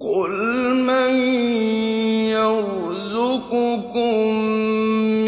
قُلْ مَن يَرْزُقُكُم